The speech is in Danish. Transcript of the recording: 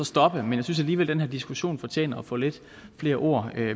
stoppet men jeg synes alligevel at den her diskussion fortjener at få lidt flere ord